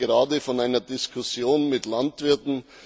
Ich komme gerade von einer Diskussion mit Landwirten.